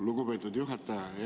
Lugupeetud juhataja!